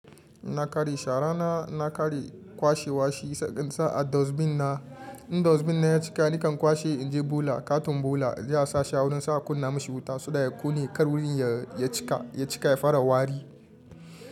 Inna kare shara na, inna kare kwashe washi, si insane a dustbin na, in dustbin na ya cika nakan kwashe in je bola. Katun bola za a sa sha wurin sa a kunna mashi wuta, saboda ya kone kar wurin ya cika, ya cika ya fara wari.